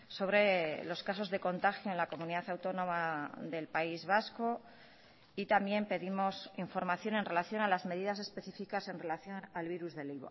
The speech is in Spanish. sobre los casos de contagio en la comunidad autónoma del país vasco y también pedimos información en relación a las medidas específicas en relación al virus del